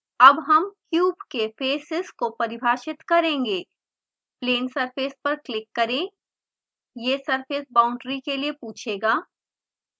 अब हम क्यूब के फैसेसअग्र भाग को परिभाषित करेंगे plane surface पर क्लिक करें यह surface boundary के लिए पूछेगा